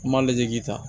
N m'a lajɛ k'i ta